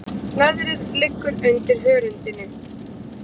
Leðrið liggur undir hörundinu.